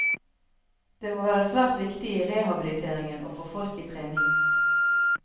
Det må være svært viktig i rehabiliteringen å få folk i trening.